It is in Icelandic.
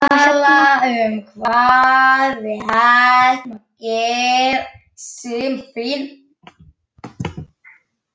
Hann tók um járnhringinn á kirkjuhurðinni.